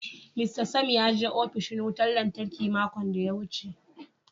"Mr Sam" ya je opishin wutan lantarki makon daya wuce.